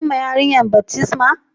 An yi ma yarinyan baftisma ma?